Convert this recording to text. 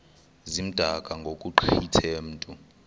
zimdaka ngokugqithe mntu